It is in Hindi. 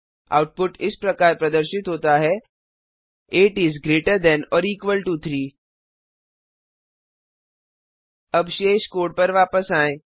आउटपुट इस प्रकार प्रदर्शित होता है 8 इस greater than or equal to 3 अब शेष कोड पर वापस आएँ